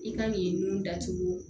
I ka nin nun datugu